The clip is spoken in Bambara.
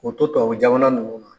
O to tubabu jama ninnu kɔnɔ.